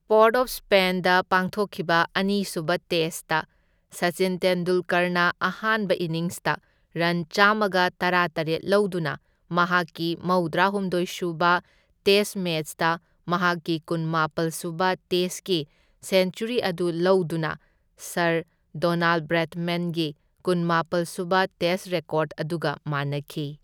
Port of Spain ꯄꯥꯡꯊꯣꯛꯈꯤꯕ ꯑꯅꯤꯁꯨꯕ test Sachin ꯇꯦꯟꯗꯨꯜꯀꯔꯅ ꯑꯍꯥꯟꯕ ꯏꯅꯤꯡꯁꯇ ꯔꯟ ꯆꯥꯝꯃꯒ ꯇꯔꯥꯇꯔꯦꯠ ꯂꯧꯗꯨꯅ, ꯃꯍꯥꯛꯀꯤ ꯃꯧꯗ꯭ꯔꯥꯍꯨꯝꯗꯣꯢ ꯁꯨꯕ ꯇꯦꯁ ꯃꯦꯆꯇ ꯃꯍꯥꯛꯀꯤ ꯀꯨꯟꯃꯥꯄꯜ ꯁꯨꯕ ꯇꯦꯁꯀꯤ ꯁꯦꯟꯆꯨꯔꯤ ꯑꯗꯨ ꯂꯧꯗꯨꯅ ꯁꯔ ꯗꯣꯅꯥꯜꯗ ꯕ꯭꯭ꯔꯦꯗꯃꯦꯟꯒꯤ ꯀꯨꯟꯃꯥꯄꯜ ꯁꯨꯕ ꯇꯦꯁ ꯔꯦꯀꯣꯔꯗ ꯑꯗꯨꯒ ꯃꯥꯟꯅꯈꯤ꯫